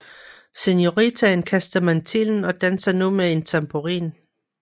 Senoritaen kaster mantillen og danser til nu med en tamburin